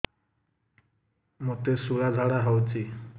ମୋତେ ଶୂଳା ଝାଡ଼ା ହଉଚି